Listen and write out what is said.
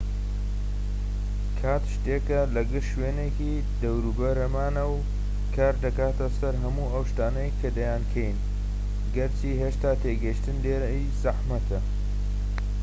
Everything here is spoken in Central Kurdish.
کات شتێکە کە لە گشت شوێنێکی دەوروبەرمانە و کار دەکاتە سەر هەموو ئەو شتانەی کە دەیانکەین گەرچی هێشتا تێگەیشتن لێی زەحمەتە